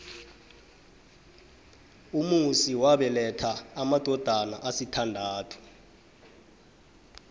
umusi wabeletha amadodana asithandathu